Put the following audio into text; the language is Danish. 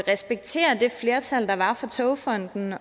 respektere det flertal der var for togfonden